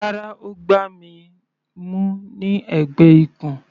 Rárá, Ó gbá mi mú ní ẹ̀gbẹ́ ikùn.